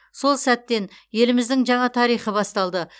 сол сәттен еліміздің жаңа тарихы басталды